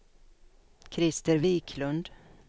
Christer Wiklund